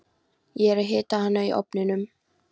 Ég er að hita hana í ofninum.